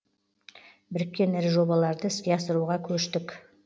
біріккен ірі жобаларды іске асыруға көштік